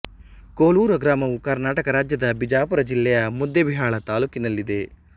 ಕೋಲೂರ ಗ್ರಾಮವು ಕರ್ನಾಟಕ ರಾಜ್ಯದ ಬಿಜಾಪುರ ಜಿಲ್ಲೆಯ ಮುದ್ದೇಬಿಹಾಳ ತಾಲ್ಲೂಕಿನಲ್ಲಿದೆ